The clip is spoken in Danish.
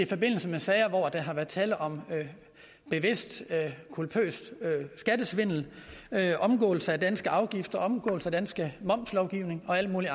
forbindelse med sager hvor der har været tale om bevidst culpøs skattesvindel omgåelse af danske afgifter omgåelse af dansk momslovgivning og alt muligt